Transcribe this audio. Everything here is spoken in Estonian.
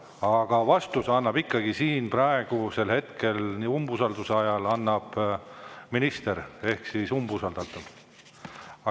Aga vastuse annab ikkagi siin praegusel hetkel ehk umbusaldus ajal minister ehk umbusaldatav.